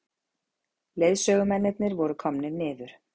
Leiðsögumennirnir voru komnir niður.